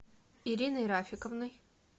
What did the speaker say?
ириной рафиковной